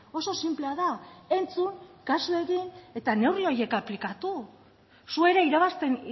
oso sinplea da entzun kasu egin eta neurri horiek aplikatu zu ere irabazten